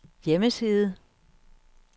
hjemmeside